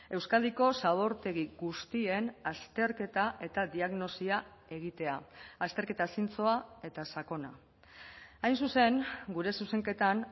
euskadiko zabortegi guztien azterketa eta diagnosia egitea azterketa zintzoa eta sakona hain zuzen gure zuzenketan